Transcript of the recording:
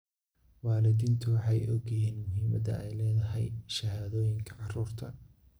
Waalidiintu waxay og yihiin muhiimadda ay leedahay shahaadooyinka carruurta.